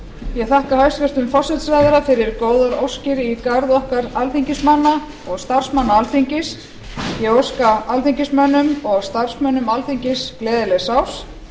ég þakka hæstvirtum forsætisráðherra fyrir góðar óskir í garð okkar alþingismanna og starfsmanna alþingis ég óska alþingismönnum og starfsmönnum alþingis gleðilegs árs